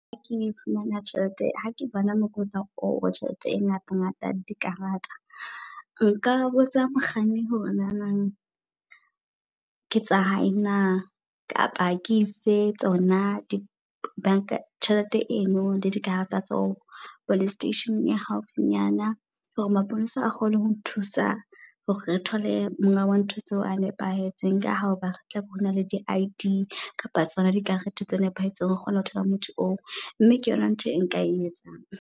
Hake fumana tjhelete ha ke bona mokotla oo wa tjhelete e ngata ngata dikarata. Nka botsa mokganni hore nana ke tsa hae na. Kapa ke ise tsona di bank-a tjhelete eno le dikarata tseo police station e haufinyana. Hore mapolesa a kgone hong nthusa hore re thole monga wa ntho tseo a nepahetseng. Ka hoba tlabe re na le di I_D kapa tsona di karete tse nepahetseng re kgona ho thola motho oo. Mme ke yona ntho e nka e etsang.